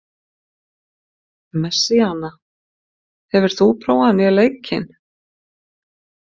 Messíana, hefur þú prófað nýja leikinn?